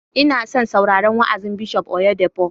Ina son sauraron wa'azin Bishop Oyedepo